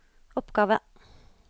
oppgave